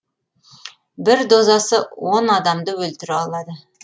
бір дозасы он адамды өлтіре алады